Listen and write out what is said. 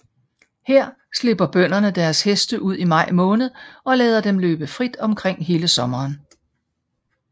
Her slipper bønderne deres heste ud i maj måned og lader dem løbe frit omkring hele sommeren